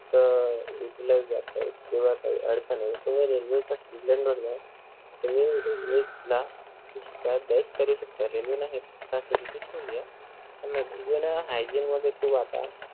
त विकलं जातंय किंवा काही अडचण अली त म railway च्या जा आणि railway ला करू शकता railway नाही railway न hygiene मध्ये full आता